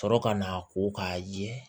Sɔrɔ ka n'a ko k'a ye